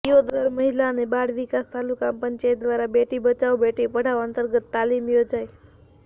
દિયોદર મહિલા અને બાળ વિકાસ તાલુકા પંચાયત દ્વારા બેટી બચાવો બેટી પઢાવો અંતર્ગત તાલીમ યોજાઈ